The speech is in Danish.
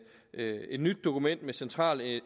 nyt dokument med central